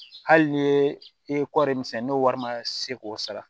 Hali ni i ye kɔɔri min sɛnɛ n'o wari ma se k'o sara